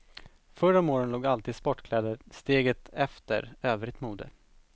Förr om åren låg alltid sportkläder steget efter övrigt mode.